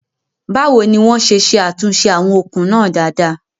Báwo ni wọ́n ṣe ṣe àtúnṣe àwọn okùn náà dáadáa?